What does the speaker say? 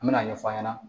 An me n'a ɲɛf'a ɲɛna